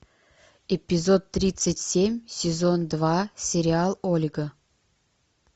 эпизод тридцать семь сезон два сериал ольга